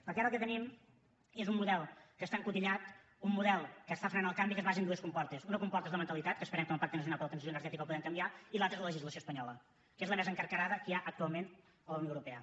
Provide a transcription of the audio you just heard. perquè ara el que tenim és un model que està encotillat un model que frena el canvi que es basa en dues comportes una comporta és la mentalitat que esperem que amb el pacte nacional per a la transició energètica la puguem canviar i l’altra és la legislació espanyola que és la més encarcarada que hi ha actualment a la unió europea